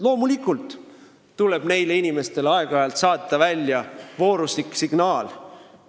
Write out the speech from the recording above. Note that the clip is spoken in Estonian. Loomulikult tuleb neile inimestele aeg-ajalt saata välja vooruslik signaal.